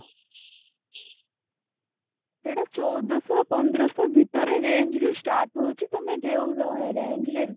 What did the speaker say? ସେଠୁ ଚଉଦ ଶହ ପନ୍ଦର ଶହ range ରୁ start ହଉଛି ମାନେ ଯୋଉ ରେ range ରେ